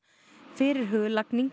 fyrirhuguð lagning